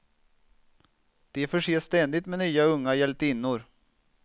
De förses ständigt med nya unga hjältinnor.